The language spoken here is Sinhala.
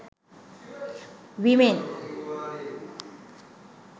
women